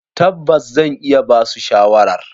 Tabbas, zan iya basu shawarar.